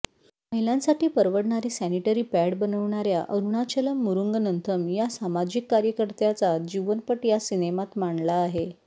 महिलांसाठी परवडणारे sanitary pad बनवणाऱ्या अरुणाचलम् मुरुंगनंथम या सामाजिक कार्यकर्त्याचा जीवनपट या सिनेमात मांडला आहे